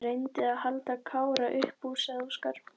Ég reyndi að halda Kára upp úr, sagði Óskar.